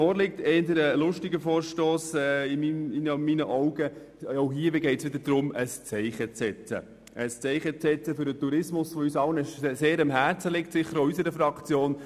Auch bei diesem Vorstoss geht es darum, ein Zeichen für den Tourismus zu setzen, der uns allen sehr am Herzen liegt, auch unserer Fraktion.